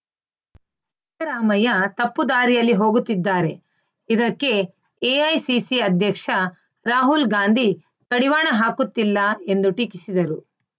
ರಾಮಯ್ಯ ತಪ್ಪು ದಾರಿಯಲ್ಲಿ ಹೋಗುತ್ತಿದ್ದಾರೆ ಇದಕ್ಕೆ ಎಐಸಿಸಿ ಅಧ್ಯಕ್ಷ ರಾಹುಲ್‌ ಗಾಂಧಿ ಕಡಿವಾಣ ಹಾಕುತ್ತಿಲ್ಲ ಎಂದು ಟೀಕಿಸಿದರು